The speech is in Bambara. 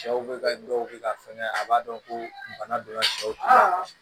Sɛw bɛ ka dɔw bɛ ka fɛngɛ a b'a dɔn ko bana donna sɛw tɛ